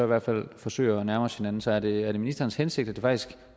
hvert fald forsøge at nærme os hinanden så er det ministerens hensigt at det faktisk